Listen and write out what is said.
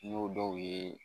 N'o dɔw ye